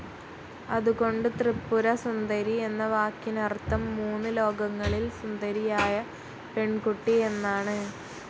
അതുകൊണ്ട് ത്രിപുര സുന്ദരി എന്ന വാക്കിനർത്ഥം മൂന്നു ലോകങ്ങളിൽ സുന്ദരിയായ പെൺകുട്ടി എന്നാണ്.